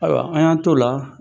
Ayiwa an y'an t'o la